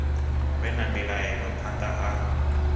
vhe na mbilaelo phanḓa ha